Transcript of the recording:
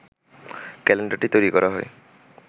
ক্যালেন্ডারটি তৈরি করা হয়